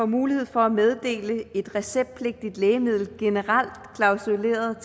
mulighed for at meddele et receptpligtigt lægemiddel generelt klausuleret